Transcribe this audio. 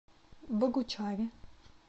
богучаре